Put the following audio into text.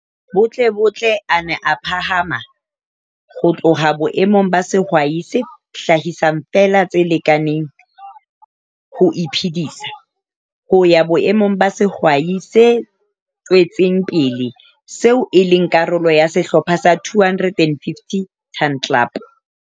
Butlebutle a nna a phahama ho tloha boemong ba sehwai se hlahisang feela tse lekaneng ho iphedisa, ho ya boemong ba sehwai se tswetseng pele, seo e leng karolo ya sehlopha sa 250 Ton Club.